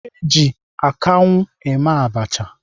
Eji akanwu eme abacha.